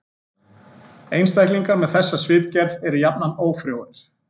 Einstaklingar með þessa svipgerð eru jafnan ófrjóir.